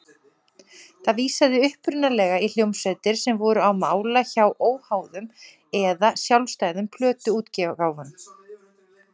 Það vísaði upprunalega í hljómsveitir sem voru á mála hjá óháðum eða sjálfstæðum plötuútgáfum.